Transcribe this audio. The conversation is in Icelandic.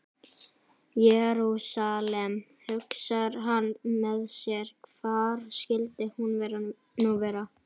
Jerúsalem, hugsar hann með sér, hvar skyldi hún nú vera?